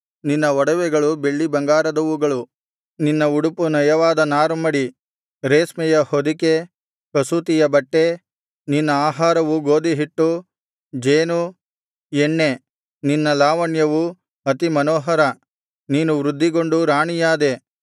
ನಿನ್ನ ಒಡವೆಗಳು ಬೆಳ್ಳಿಬಂಗಾರದವು ನಿನ್ನ ಉಡುಪು ನಯವಾದ ನಾರುಮಡಿ ರೇಷ್ಮೆಯ ಹೊದಿಕೆ ಕಸೂತಿಯ ಬಟ್ಟೆ ನಿನ್ನ ಆಹಾರವು ಗೋದಿಹಿಟ್ಟು ಜೇನು ಎಣ್ಣೆ ನಿನ್ನ ಲಾವಣ್ಯವು ಅತಿಮನೋಹರ ನೀನು ವೃದ್ಧಿಗೊಂಡು ರಾಣಿಯಾದೆ